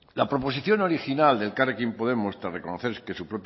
la proposición original de elkarrekin podemos tras reconocer